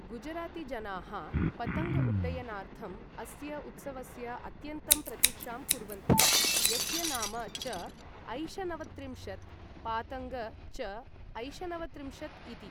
गुजरातीजनाः पतङ्ग उड्डयनार्थम् अस्य उत्सवस्य अत्यन्तं प्रतीक्षां कुर्वन्ति, यस्य नाम च ऐशनवत्रिंशत्, पातङ्ग च ऐशनवत्रिंशत्, इति ।